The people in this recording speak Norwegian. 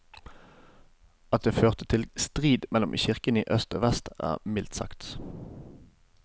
At det førte til strid mellom kirkene i øst og vest er mildt sagt.